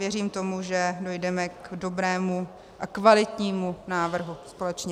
Věřím tomu, že dojdeme k dobrému a kvalitnímu návrhu společně.